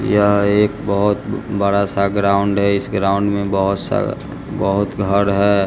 यह एक बहुत बड़ा सा ग्राउंड है इस ग्राउंड में बहुत सारा बहुत घर है।